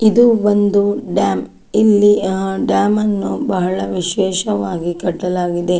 ಇದು ಒಂದು ಡ್ಯಾಮ್ ಇಲ್ಲಿ ಡ್ಯಾಮ್ ನ್ನು ಬಹಳ ವಿಶೇಷವಾಗಿ ಕಟ್ಟಲಾಗಿದೆ.